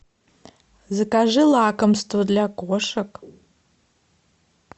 закажи лакомство для кошек